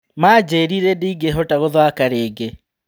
Manjirire ndingĩhota gũthaka rĩngĩ.